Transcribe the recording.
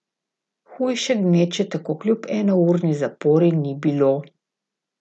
Hujše gneče tako kljub enourni zapori ni bilo.